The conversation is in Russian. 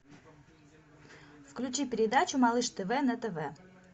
включи передачу малыш тв на тв